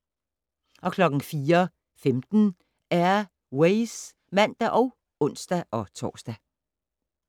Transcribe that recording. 04:15: Air Ways (man og ons-tor)